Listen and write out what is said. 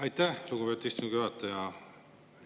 Aitäh, lugupeetud istungi juhataja!